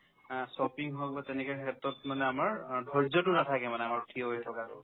অ, shopping হ'ল বা তেনেকুৱা ক্ষেত্ৰত মানে আমাৰ অ ধৈৰ্য্যতো নাথাকে মানে আমাৰ থিয় হৈ থকাতো